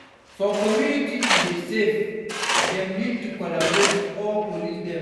For community to dey safe dem need to collaborate with di police dem